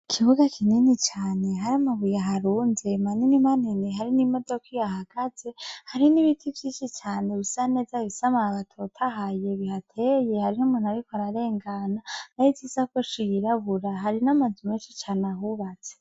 Ikibuga kinini cane hari amabuye aharunze manini manini hari n'imodoka ihahagaze hari n'ibiti vyinshi cane bisa neza bifise amababi atotahaye bihateye hariho umuntu ariko ararengana ahetse isakoshi yirabura hari n'amazu menshi cane ahubatse.